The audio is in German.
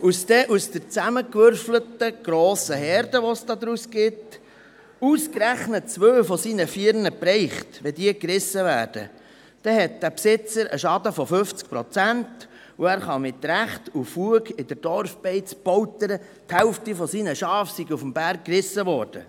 Wenn dann aus der zusammengewürfelten grossen Herde, die es daraus gibt, ausgerechnet zwei von seinen vier Tieren gerissen werden, dann hat dieser Besitzer einen Schaden von 50 Prozent und kann mit Fug und Recht in der Dorfbeiz poltern, die Hälfte seiner Schafe sei auf dem Berg gerissen worden.